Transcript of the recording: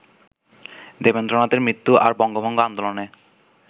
দেবেন্দ্রনাথের মৃত্যু আর বঙ্গভঙ্গ আন্দোলনে